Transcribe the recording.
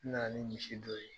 N na na ni misi dɔ ye.